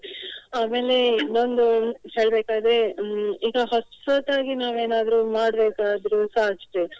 ಆಮೇಲೆ ಇನ್ನೊಂದು ಹೇಳ್ಬೇಕಾದ್ರೆ ಹ್ಮ್ ಈಗ ಹೊಸತ್ತಾಗಿ ನಾವೇನಾದ್ರೂ ಮಾಡ್ಬೇಕಾದ್ರುಸ ಅಷ್ಟೇ.